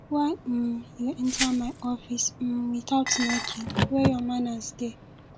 why um you enter my office um without knocking where your manners dey